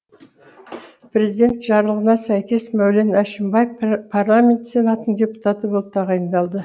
президент жарлығына сәйкес мәулен әшімбаев парламент сенатының депутаты болып тағайындалды